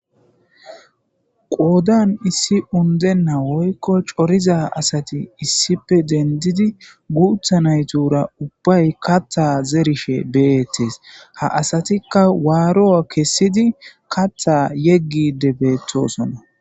qoodan issi undennawoykko coriza asati issife dendidi guutha naytura ubbay katha zerisfhe beyettes ha asatikka waaro7a kessidi katha yeggide beettosona